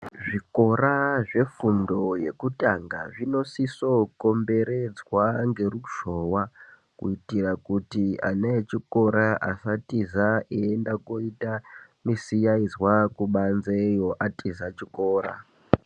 Zvikora zvefundo yekutanga zvinosisokomberedzwa ngeruzhowa, kuitira kuti ana echikora asatiza eienda koita misiyaizwa kubanzeyo, atiza chikora.